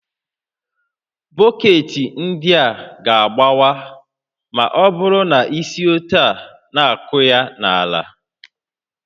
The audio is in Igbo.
Bọketị ndị a ga-agbawa ma ọ bụrụ na isi etu a na-akụ ha n'ala